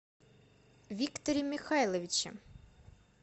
викторе михайловиче